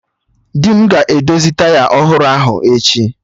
Di m ga-edozi taya ọhụrụ ahụ echi